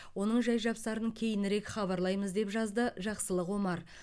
оның жай жапсарын кейінірек хабарлаймыз деп жазды жақсылық омар